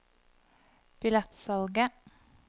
billettsalget